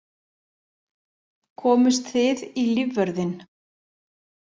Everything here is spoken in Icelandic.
Komust þið í lífvörðinn?